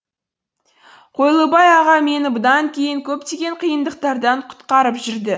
қойлыбай аға мені бұдан кейін де көптеген қиындықтардан құтқарып жүрді